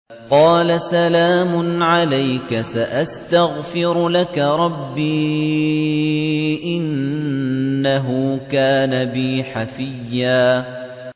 قَالَ سَلَامٌ عَلَيْكَ ۖ سَأَسْتَغْفِرُ لَكَ رَبِّي ۖ إِنَّهُ كَانَ بِي حَفِيًّا